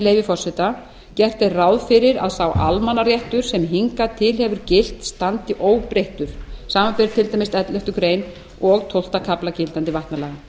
leyfi forseta gert er ráð fyrir að sá almannaréttur sem hingað til hefur gilt standi óbreyttur samanber til dæmis elleftu greinar og tólfta kafla gildandi vatnalaga